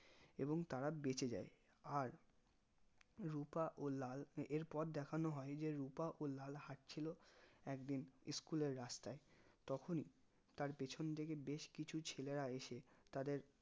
এবং তারা বেঁচে যাই আর রুপা ও লাল এর পর দেখানো হয় যে রুপা ও লাল হাটছিলো একদিন school এর রাস্তায় তখনি তার পেছন থেকে বেশ কিছু ছেলেরা এসে তাদের